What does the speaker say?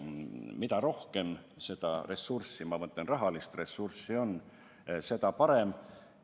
Mida rohkem rahalist ressurssi on, seda parem.